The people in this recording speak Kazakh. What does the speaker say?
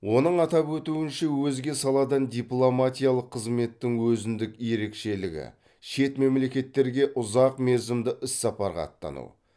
оның атап өтуінше өзге саладан дипломатиялық қызметтің өзіндік ерекшелігі шет мемлекеттерге ұзақмерзімді іссапарға аттану